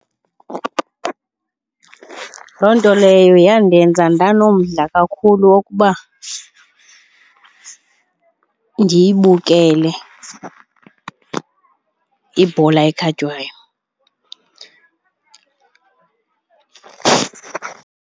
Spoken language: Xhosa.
Loo nto leyo yandenza ndanomdla kakhulu wokuba ndiyibukele ibhola ekhatywayo.